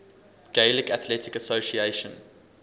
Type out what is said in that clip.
gaelic athletic association